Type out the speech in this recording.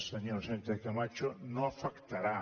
senyora sánchez cama cho no l’afectarà